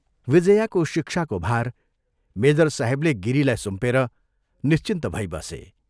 विजयाको शिक्षाको भार मेजर साहेबले गिरीलाई सुम्पेर निश्चिन्त भई बसे।